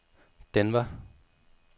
Denver